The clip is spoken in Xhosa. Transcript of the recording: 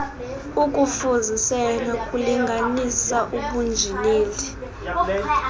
ukufuzisela nokulinganisa ubunjineli